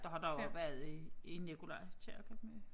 Det har der også været i i Nikolaj Kirke med